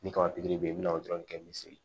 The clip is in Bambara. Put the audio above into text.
Ni kaba pikiri bɛ ye i bɛna o dɔrɔn kɛ misi